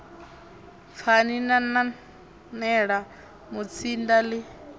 pfani na nanela mutsinda ḽi